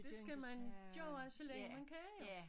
Det skal man gøre så længe man kan jo